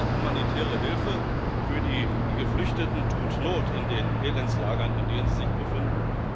Humanitäre Hilfe für die Geflüchteten tut not in den Elendslagern, in denen sie sich befinden.